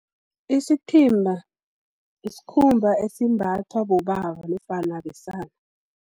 Isithimba, sikhumba esimbathwa bobaba, nofana besana.